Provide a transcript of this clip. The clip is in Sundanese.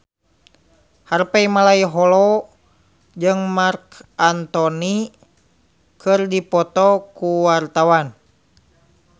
Harvey Malaiholo jeung Marc Anthony keur dipoto ku wartawan